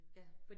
Ja